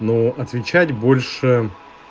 но отвечать больше